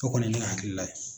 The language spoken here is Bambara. O kɔni ye ne ka hakilila ye.